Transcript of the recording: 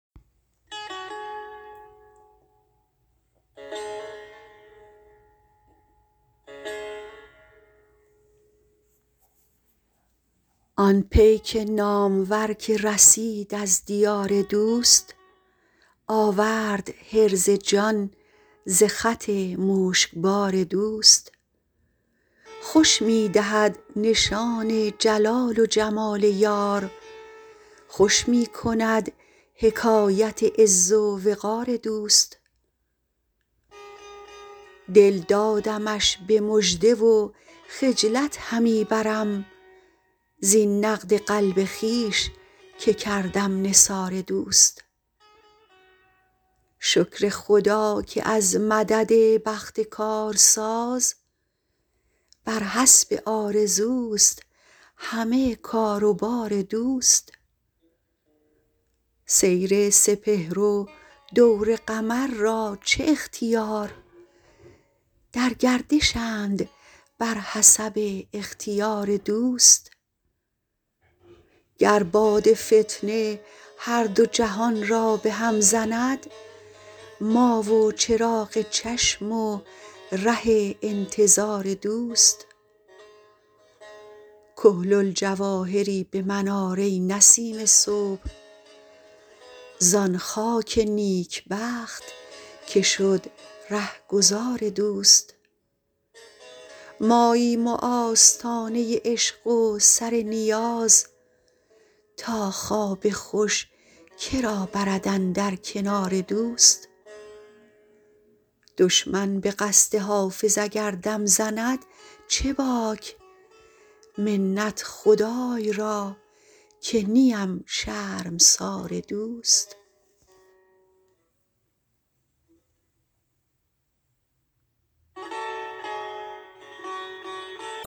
آن پیک نامور که رسید از دیار دوست آورد حرز جان ز خط مشکبار دوست خوش می دهد نشان جلال و جمال یار خوش می کند حکایت عز و وقار دوست دل دادمش به مژده و خجلت همی برم زین نقد قلب خویش که کردم نثار دوست شکر خدا که از مدد بخت کارساز بر حسب آرزوست همه کار و بار دوست سیر سپهر و دور قمر را چه اختیار در گردشند بر حسب اختیار دوست گر باد فتنه هر دو جهان را به هم زند ما و چراغ چشم و ره انتظار دوست کحل الجواهری به من آر ای نسیم صبح زان خاک نیکبخت که شد رهگذار دوست ماییم و آستانه عشق و سر نیاز تا خواب خوش که را برد اندر کنار دوست دشمن به قصد حافظ اگر دم زند چه باک منت خدای را که نیم شرمسار دوست